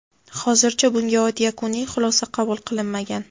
Hozircha bunga oid yakuniy xulosa qabul qilinmagan.